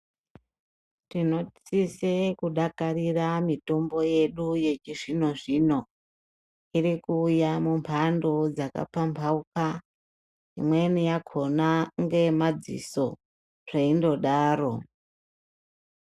Tinosisa kudakarira mitombo yedu yechizbinozbino irikuita mimhando dzakapamhauka imweni yakona ngeyemadziso zveindodaro